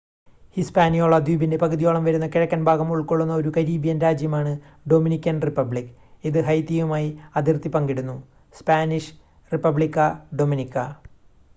Hispaniola ദ്വീപിന്റെ പകുതിയോളം വരുന്ന കിഴക്കൻ ഭാഗം ഉൾക്കൊള്ളുന്ന ഒരു കരീബിയൻ രാജ്യമാണ് ഡൊമിനിക്കൻ റിപ്പബ്ലിക് ഇത് ഹൈതിയുമായി അതിർത്തി പങ്കിടുന്നു. സ്പാനിഷ്: റിപ്പബ്ലിക്ക ഡൊമിനിക്ക